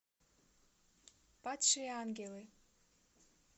падшие ангелы